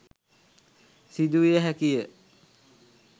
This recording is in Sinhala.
සිදු විය හැකි ය